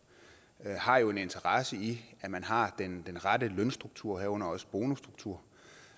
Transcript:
har jo en interesse i at man har den rette lønstruktur herunder også bonusstruktur